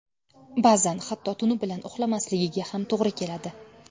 Ba’zan hatto tuni bilan uxlamasligiga ham to‘g‘ri keladi.